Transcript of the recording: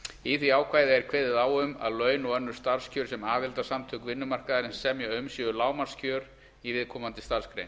í því ákvæði er kveðið á um að laun og önnur starfskjör sem aðildarsamtök vinnumarkaðarins semja um séu lágmarkskjör í viðkomandi starfsgrein